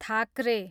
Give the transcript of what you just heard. Thackeray